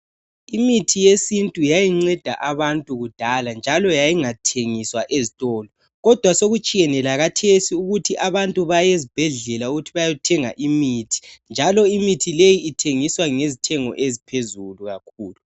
Imithi yesintu yayinceda abantu kudala njalo yayingathengiswa ezitolo. Kodwa sokutshiyene lakathesi abantu sebesiyathenga imithi njalo imithi leyi ithengiswa ngezithengo eziphezulu kakhulu.